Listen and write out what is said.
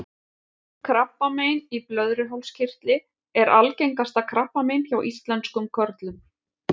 Krabbamein í blöðruhálskirtli er algengasta krabbamein hjá íslenskum körlum.